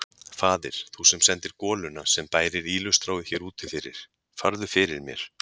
Faðir, þú sem sendir goluna sem bærir ýlustráið hér úti fyrir, farðu fyrir mér.